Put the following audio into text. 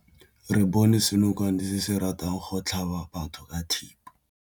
Re bone senokwane se se ratang go tlhaba batho ka thipa.